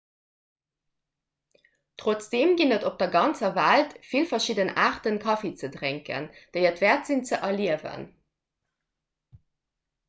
trotzdeem ginn et op der ganzer welt vill verschidden aarte kaffi ze drénken déi et wäert sinn ze erliewen